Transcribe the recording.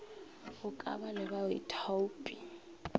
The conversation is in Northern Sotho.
go ka ba le baithaopi